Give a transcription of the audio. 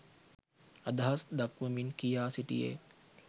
අදහස් දක්වමින් කියා සිටියේ